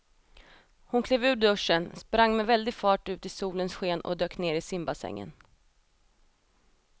Hon klev ur duschen, sprang med väldig fart ut i solens sken och dök ner i simbassängen.